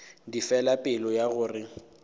di fela pelo ya gore